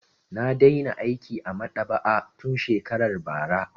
Na daina aiki a maɗaba'a tun shekarar bara.